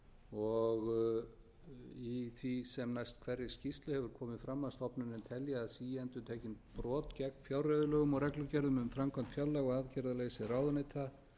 og í því sem næst hverri skýrslu hefur komið fram að stofnunin telji að síendurtekin brot gegn fjárreiðulögum og reglugerðum um framkvæmd fjárlaga og aðgerðaleysi ráðuneyta